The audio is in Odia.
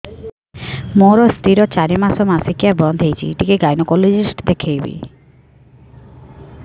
ମୋ ସ୍ତ୍ରୀ ର ଚାରି ମାସ ମାସିକିଆ ବନ୍ଦ ହେଇଛି ଟିକେ ଗାଇନେକୋଲୋଜିଷ୍ଟ ଦେଖେଇବି